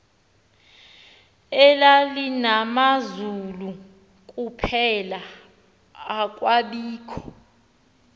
elalinamazulu kuphela akwabikho